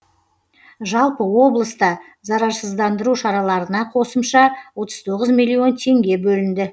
жалпы облыста зарарсыздандыру шараларына қосымша отыз тоғыз миллион теңге бөлінді